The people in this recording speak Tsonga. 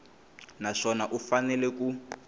na swona u fanele ku